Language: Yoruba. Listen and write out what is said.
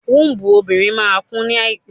Wọ́ọ̀dù obìnrin máa kún ní àìpẹ́.